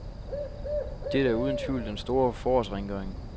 Dette er uden tvivl den store forårsrengøring.